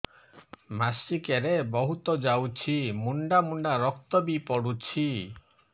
ମାସିକିଆ ରେ ବହୁତ ଯାଉଛି ମୁଣ୍ଡା ମୁଣ୍ଡା ରକ୍ତ ବି ପଡୁଛି